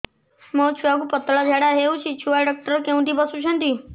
ମୋ ଛୁଆକୁ ପତଳା ଝାଡ଼ା ହେଉଛି ଛୁଆ ଡକ୍ଟର କେଉଁଠି ବସୁଛନ୍ତି